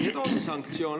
Nii et on sanktsioon!